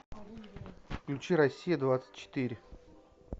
включи россия двадцать четыре